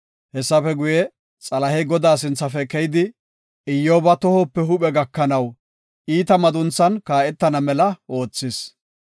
Hessafe guye, Xalahey Godaa sinthafe keyidi, Iyyoba tohope huuphe gakanaw iita madunthan kaa7etana mela oothis.